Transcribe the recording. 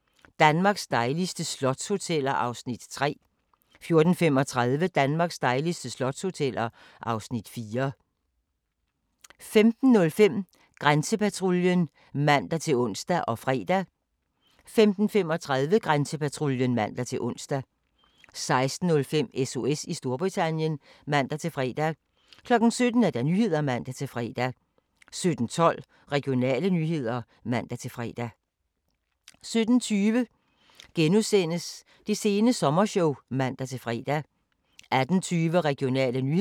17:20: Det sene sommershow *(man-fre) 18:20: Regionale nyheder (man-fre) 18:25: Go' aften Danmark (man-fre) 20:00: Sukkertoppen (Afs. 4) 20:50: En stor dag på godset - Frederiksdal (Afs. 3) 21:25: Blændende boliger 22:00: Nyhederne (man-tor) 22:27: Regionale nyheder (man-tor) 22:45: Det sene sommershow (man-tor) 23:15: Klipfiskerne (Afs. 7)